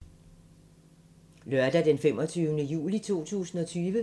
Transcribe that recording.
Lørdag d. 25. juli 2020